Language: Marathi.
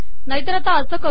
नाहीतर आपण असे कर